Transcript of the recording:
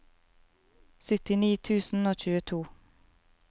syttini tusen og tjueto